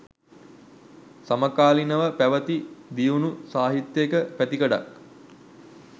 සමකාලීනව පැවැති දියුණු සාහිත්‍යයක පැතිකඩක්